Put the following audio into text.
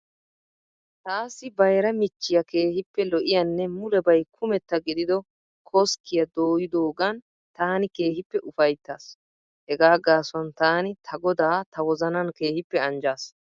Taassi bayira michchiya keehippe lo'iyanne mulebay kumetta gidido koskkiya dooyidoogan taani keehippe ufayittaas. Hegaa gaasuwan taani ta Godaa ta wozanan keehippe anijjaas.